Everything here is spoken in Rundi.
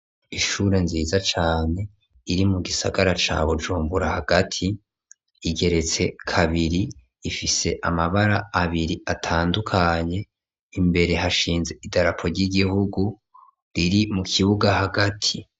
Ishure nziza cane iri mu gisagara ca Bujumbura hagati, igeretse kabiri ifise amabara abiri atandukanye imbere hashinze idarapo ry'igihugu riri mu kibuga hagati.